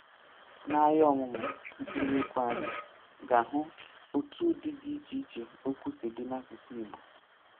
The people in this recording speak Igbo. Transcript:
N’aya ọmụmụ mkpụrụ okwu anyị ga-ahụ otu ụdị dị iche iche okwu si dị n’asụsụ Igbo.